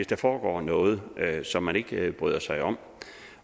der foregår noget som man ikke bryder sig om